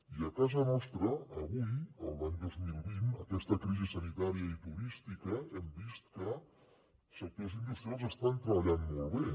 i a casa nostra avui l’any dos mil vint aquesta crisi sanitària i turística hem vist que sectors industrials estan treballant molt bé